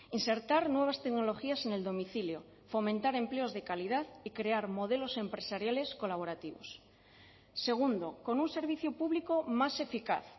insertar nuevas tecnologías en el domicilio fomentar empleos de calidad y crear modelos empresariales colaborativos segundo con un servicio público más eficaz